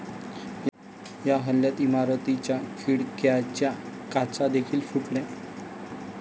या हल्ल्यात इमारतीच्या खिडक्यांच्या काचा देखील फुटल्या.